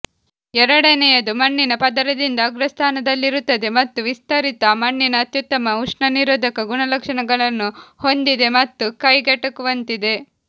ಎರಡನೆಯದು ಮಣ್ಣಿನ ಪದರದಿಂದ ಅಗ್ರಸ್ಥಾನದಲ್ಲಿರುತ್ತದೆ ಮತ್ತು ವಿಸ್ತರಿತ ಮಣ್ಣಿನ ಅತ್ಯುತ್ತಮ ಉಷ್ಣ ನಿರೋಧಕ ಗುಣಲಕ್ಷಣಗಳನ್ನು ಹೊಂದಿದೆ ಮತ್ತು ಕೈಗೆಟುಕುವಂತಿದೆ